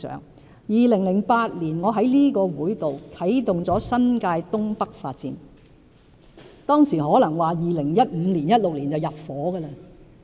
我於2008年在立法會啟動新界東北發展計劃，當時預計2015年或2016年便入伙。